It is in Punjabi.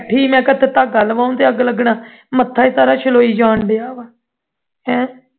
ਬੈਠੀ ਲਵਾਉਣ ਧਾਗਾ ਤੇ ਅੱਗ ਲੱਗਣਾ ਮੱਥਾ ਹੀ ਸਾਰਾ ਛਲੋਈ ਜਾਨ ਡਆ ਵਾਹ ਹੈਂ